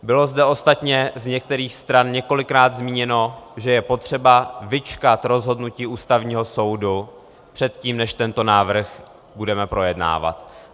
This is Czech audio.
Bylo zde ostatně z některých stran několikrát zmíněno, že je potřeba vyčkat rozhodnutí Ústavního soudu předtím, než tento návrh budeme projednávat.